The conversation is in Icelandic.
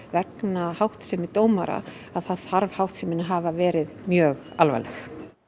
vegna háttsemi dómara þá þarf háttsemin að hafa verið mjög alvarleg